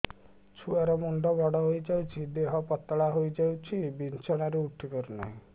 ଛୁଆ ର ମୁଣ୍ଡ ବଡ ହୋଇଯାଉଛି ଦେହ ପତଳା ହୋଇଯାଉଛି ବିଛଣାରୁ ଉଠି ପାରୁନାହିଁ